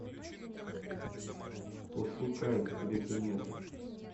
пошукай тебе конец